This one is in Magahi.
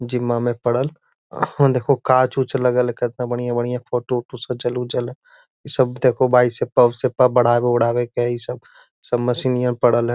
जीमा में परल आहां देखो गाछ ऊच्छ हेय लगल केतना बढ़िया-बढ़िया फोटो उटो सजल-उजल हेय इ सब देखो सब मशीनइयां परल हेय।